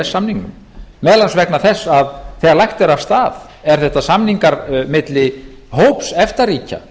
samningnum meðal annars vegna þess að þegar lagt er af stað eru þetta samningar milli hóps efta ríkja